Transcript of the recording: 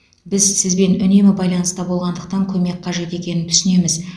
біз сізбен үнемі байланыста болғандықтан көмек қажет екенін түсінеміз